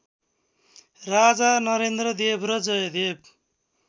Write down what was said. राजा नरेन्द्रदेव र जयदेव